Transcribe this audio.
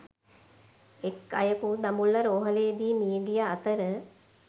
එක් අයකු දඹුල්ල රෝහ‍ලේදී මිය ගිය අතර